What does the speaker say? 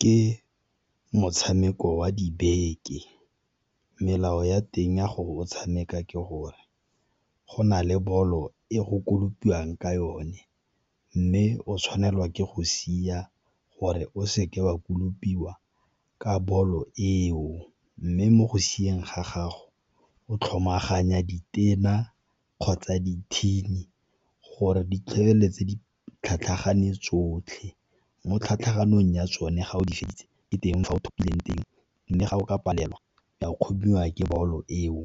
Ke motshameko wa dibeke, melao ya teng ya gore o tshameka ke gore go na le bolo e go kolopiwang ka yone mme o tshwanelwa ke go sia gore o seke wa kolopiwa ka bolo eo. Mme mo go sieng ga gago o tlhomaganya ditena kgotsa dithini gore di feleletse di tlhatlhagane tsotlhe. Mo tlhatlhamanong ya tsone ga o di feditse ko teng fa o thopileng teng, mme ga o ka palelwa wa kgomiwa ke bolo eo